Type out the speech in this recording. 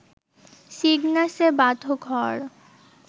সিগনাসে বাঁধো ঘর